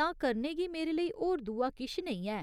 तां करने गी मेरे लेई होर दूआ किश नेईं ऐ।